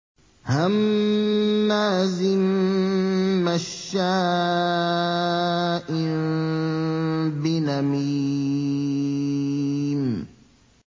هَمَّازٍ مَّشَّاءٍ بِنَمِيمٍ